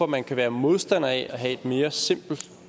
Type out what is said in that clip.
man kan være modstander af at have et mere simpelt